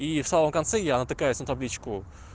и в самом конце я натыкаюсь на табличку